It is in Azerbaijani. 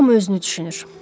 Hamı özünü düşünür.